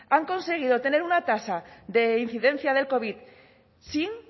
han conseguido tener una tasa de incidencia del covid sin